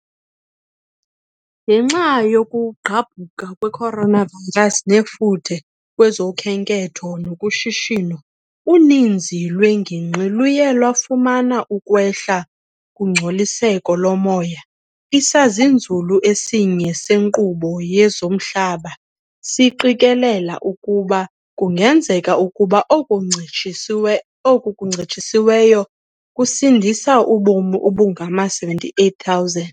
Ngenxa yokugqabhuka kwe coronavirus nefuthe kwezokhenketho nakushishino, uninzi lweengingqi luye lwafumana ukwehla kungcoliseko lomoya.. Isazinzulu esinye senkqubo yezomhlaba siqikelela ukuba kungenzeka ukuba oku kuncitshisiweyo kusindise ubomi obungama-78,000.